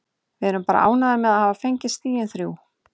Við erum bara ánægðir með að hafa fengið stigin þrjú.